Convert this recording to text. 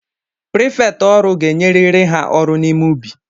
Prefektike ọrụ ga-enyeriri ha ọrụ n’ime ubi!